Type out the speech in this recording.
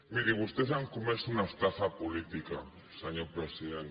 miri vostès han comès una estafa política senyor president